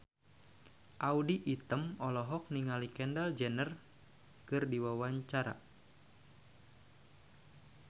Audy Item olohok ningali Kendall Jenner keur diwawancara